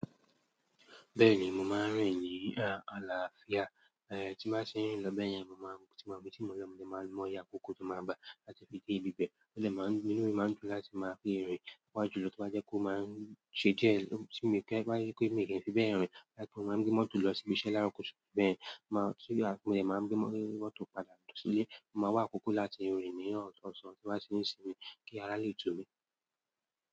Bẹ́ẹ̀ni, mo máa ń rìn ní àlàáfíà. Tí bá tin rin lọ bẹ́ẹ̀yẹn, mo máa ń, tí mo bi tí mo lọ̀, mo máa ń mo iye akókó tó máa ń ba láti fi dé ibi bẹ́ẹ̀. Mo lè máa ń gbin orí, máa ń dùn láti máa rí irin wá julọ tí bá jẹ́ kó máa ń ṣe jẹ́ ohun tí mo fẹ́ bá yé pé mi gẹ́gẹ́ bí ẹ́-ìrìn. Láti mo máa ń gbé mọ́tò lọ síbi iṣẹ́ láro kutu bẹ́ẹ̀, màá tú ya, mo lè máa ń gbé mọ́tò padà losi ilé. Máa wá àkókó láti rin ní ọ̀san tí o ba se ṣe kí ará lè tú mi.